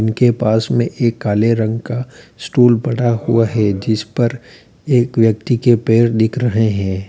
इनके पास में एक काले रंग का स्टूल पड़ा हुआ है जिस पर एक व्यक्ति के पैर दिख रहे हैं।